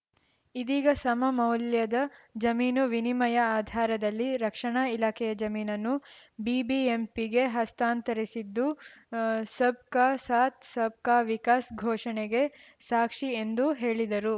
ಇದೀಗ ಸಮ ಮೌಲ್ಯದ ಜಮೀನು ವಿನಿಮಯ ಆಧಾರದಲ್ಲಿ ರಕ್ಷಣಾ ಇಲಾಖೆಯ ಜಮೀನನ್ನು ಬಿಬಿಎಂಪಿಗೆ ಹಸ್ತಾಂತರಿದ್ದು ಸಬ್‌ ಕಾ ಸಾತ್‌ ಸಬ್‌ ಕಾ ವಿಕಾಸ್‌ ಘೋಷಣೆಗೆ ಸಾಕ್ಷಿ ಎಂದು ಹೇಳಿದರು